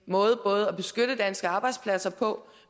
måde både at beskytte danske arbejdspladser på